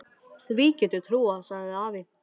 Því get ég trúað, sagði afi.